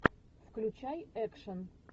включай экшен